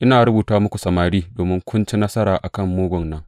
Ina rubuta muku, samari, domin kun ci nasara a kan mugun nan.